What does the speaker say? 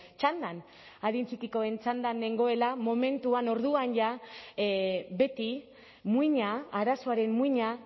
txandan adin txikikoen txandan nengoela momentuan orduan jada beti muina arazoaren muina